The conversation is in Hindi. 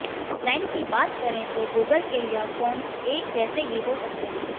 डिजाइन की बात करें तो गूगल के यह फोन्स एक जैसे ही हो सकते है